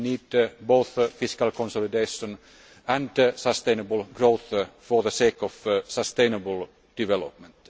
We need both fiscal consolidation and sustainable growth for the sake of sustainable development.